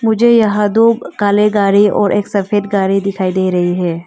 मुझे यहां दो काले गाड़ी और एक सफेद गाड़ी दिखाई दे रही है।